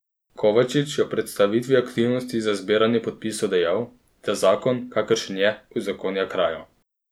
Kovačič je ob predstavitvi aktivnosti za zbiranje podpisov dejal, da zakon, kakršen je, uzakonja krajo.